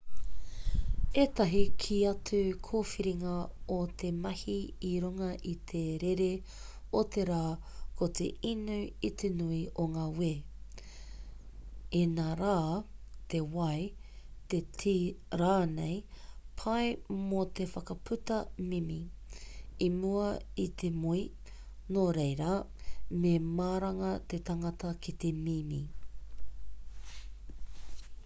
ētahi kē atu kōwhiringa o te mahi i runga i te rere o te rā ko te inu i te nui o ngā wē inarā te wai te tī rānei pai mō te whakaputa mimi i mua i te moe nō reira me maranga te tangata ki te mimi